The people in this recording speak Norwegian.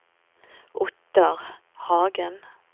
Ottar Hagen